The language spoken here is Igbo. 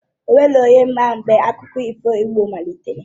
O nweghi onye ma mgbe akụkọ ifo igbo malitere